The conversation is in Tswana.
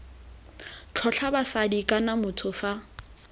tlotla basadi kana motho fa